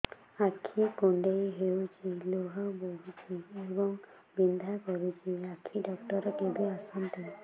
ଆଖି କୁଣ୍ଡେଇ ହେଉଛି ଲୁହ ବହୁଛି ଏବଂ ବିନ୍ଧା କରୁଛି ଆଖି ଡକ୍ଟର କେବେ ଆସନ୍ତି